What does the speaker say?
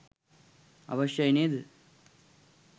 අවශ්‍යයි නේද?